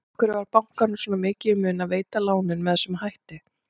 En af hverju var bankanum svona mikið í mun að veita lánin með þessum hætti?